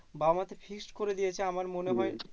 বাবা মা তো fixed করে দিয়েছে আমার মনে হয়।